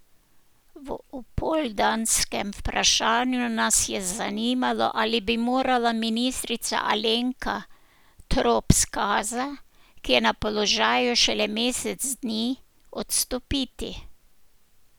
V opoldanskem vprašanju nas je zanimalo, ali bi morala ministrica Alenka Trop Skaza, ki je na položaju šele mesec dni, odstopiti.